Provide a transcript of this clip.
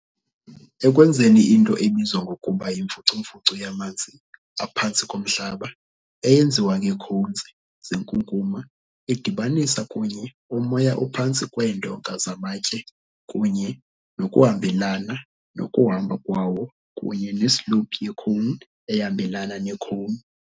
Ekwenzeni into ebizwa ngokuba yimfucumfucu yamanzi aphantsi komhlaba, eyenziwe ngeecones zenkunkuma, idibanisa kunye, umoya ophantsi kweendonga zamatye kunye nokuhambelana nokuhamba kwawo, kunye ne-slope ye-cone ehambelana ne-cone.